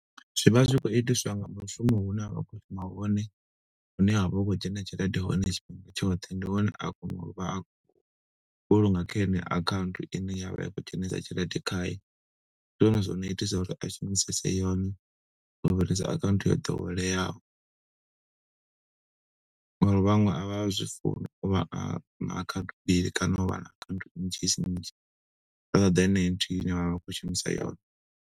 Zwivha zwi khou itiswa nga mushumo hune ra khou shuma hone, hune ha vha hu khou dzhena tshelede hone tshifhinga tshoṱhe. Ndi hone a kona uvha a vhulunga kha yeneyo akhaunthu ine yavha i khou dzhenisa tshelede khayo. Ndi zwone zwino itisa uri a shumisese yone, u fhirisa account yo ḓoweleaho, ngo uri vhaṅwe a vha zwi funi, uvha a na akhanthu mbili kana u vha na akhanthu nnzhi nnzhi. Vha ṱoḓa yeneyi nthihi ine vha vha vha khou shumisa yone.